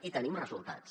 i en tenim resultats